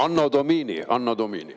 Anno Domini, anno Domini.